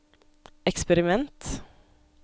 eksperiment